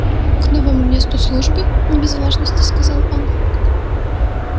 к новому месту службы не без важности сказал он